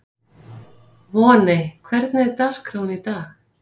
Voney, hvernig er dagskráin í dag?